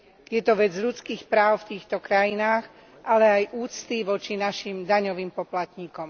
Je to vec ľudských práv v týchto krajinách, ale aj úcty voči našim daňovým poplatníkom.